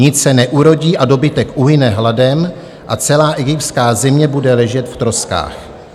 Nic se neurodí a dobytek uhyne hladem a celá egyptská země bude ležet v troskách."